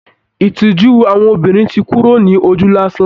Ìtìjú àwọn obìnrin ti kúrò ní ojú lásán